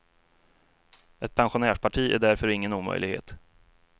Ett pensionärsparti är därför ingen omöjlighet.